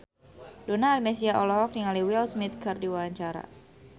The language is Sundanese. Donna Agnesia olohok ningali Will Smith keur diwawancara